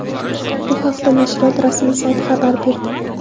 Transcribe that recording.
Bu haqda nashriyot rasmiy sayti xabar berdi .